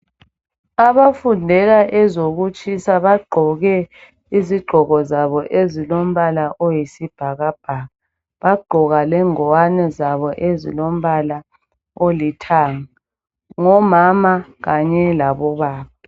Abafundela ezokutshisa bagqoke izigqoko zabo ezilombala owesibhakabhaka bagqoka lengwane zabo ezilombala olithanga ngomama kanye labobaba